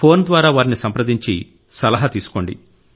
phone ద్వారా వారిని సంప్రదించి సలహా తీసుకోండి